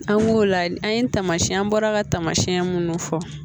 An b'o la an ye taamasiyɛn bɔra ka tamasiyɛn minnu fɔ